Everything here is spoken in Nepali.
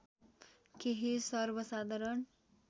केही सर्वसाधारण